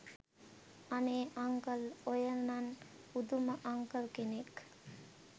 අනේ අංකල් ඔයා නං පුදුම අංකල් කෙනෙක්